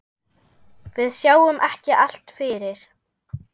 Við sjáum ekki allt fyrir.